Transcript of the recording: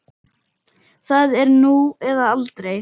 Það er nú eða aldrei.